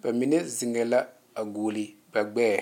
ba mine zeŋ la gɔle ba gbeɛ.